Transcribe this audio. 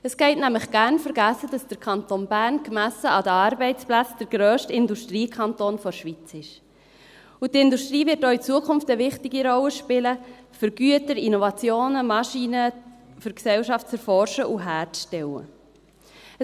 Es geht nämlich gerne vergessen, dass der Kanton Bern gemessen an den Arbeitsplätzen der grösste Industriekanton der Schweiz ist, und die Industrie wird auch in Zukunft eine wichtige Rolle spielen um Güter, Innovationen, Maschinen, um die Gesellschaft zu erforschen und herzustellen.